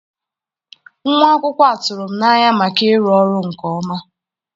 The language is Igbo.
Nwa akwụkwọ a tụrụ m n'anya maka ịrụ ọrụ nke ọma.